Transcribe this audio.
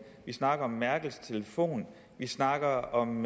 vi snakker om merkels telefon vi snakker om